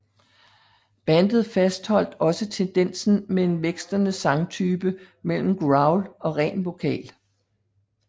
Bandet fastholdt også tendensen med en vekslende sangtype mellem growl og ren vokal